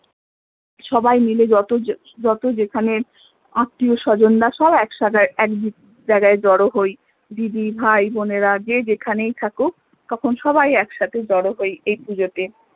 সবাই মিলে যত যত যেখানে আত্মীয় স্বজন রা সব এক সাথে এক জায়গায় জড়ো হই দিদি ভাই বোনেরা যে যেখানেই থাকুক তখন সবাই এক সাথে জড়ো হই এই পূজোতে